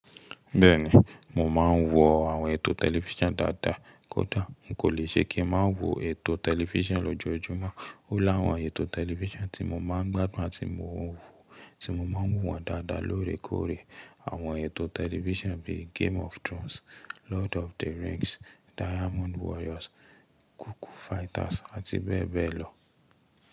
Bẹ́ẹ̀ni, mò ḿáa ń wo àwọn ètò tẹlifísàn dáadáa. Kódà n kò le ṣe kí n má wo ètò tẹlifísàn lójoójúmọ́. Ó láwọn ètò tẹlifísàn tí mo máa ń gbádùn àti mo wò tí máa ń wò wọ́n dáadáa lóòrèkóòrè. Àwọn ètò tẹlifísàn bíi game of Thrones, Lord of the Rings, Diamond Warriors, Cuckoo Fighters àti bẹ́ẹ̀ bẹ́ẹ̀ lọ.